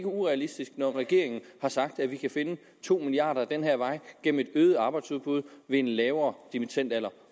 urealistisk når regeringen har sagt at vi kan finde to milliard kroner ad den her vej gennem et øget arbejdsudbud ved en lavere dimittendalder